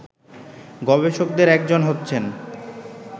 গবেষকদের একজন হচ্ছেন